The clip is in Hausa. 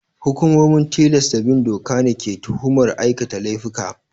Hukumomin tilasta bin doka ne ke tuhumar aikata laifuka.